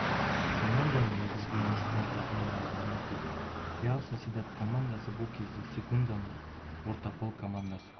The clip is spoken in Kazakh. команданың негізгі ойыншысына да айнала алмап еді реал сосьедад командасы бұл кезде сегунданың ортақол командасы